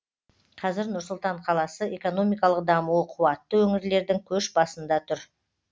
қазір нұр сұлтан қаласы экономикалық дамуы қуатты өңірлердің көш басында тұр